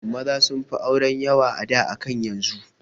Maza sunfi auren yawa a da akan yanzu